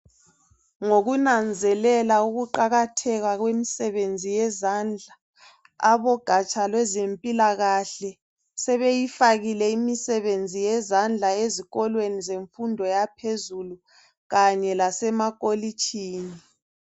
Ngokunanzelela uqakatheka kwemisebenzi yezandla abogatsha lwezempilakahle sebeyifakile imisebenzi yezandla ezikolweni zemfundo yaphezulu kanye lasemakolitshini.